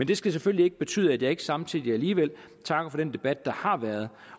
det skal selvfølgelig ikke betyde at jeg ikke samtidig alligevel takker for den debat der har været